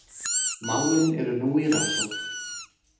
Málin eru nú í rannsókn